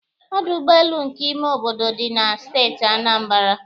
Ọdụ ụgbọelu nke ime obodo dị na Steeti Anambra